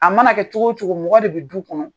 A mana kɛ cogo o cogo mɔgɔ de bɛ du kɔnɔ